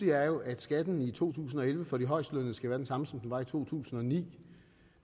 er at skatten i to tusind og elleve for de højestlønnede skal være den samme som den var i to tusind og ni